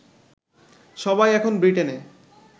সবাই এখন ব্রিটেনে